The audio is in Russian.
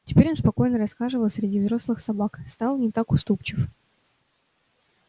теперь он спокойно расхаживал среди взрослых собак стал не так уступчив